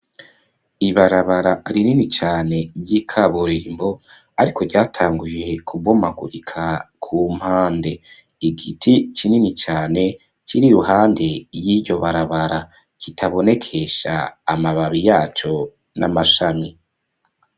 Ibarabara rinini cane ry'ikaburimbo ariko cyatanguye kubomagurika ku mpande, igiti kinini cane kiri ruhande y'iryo barabara kitabonekesha amababi yaco n'amashami.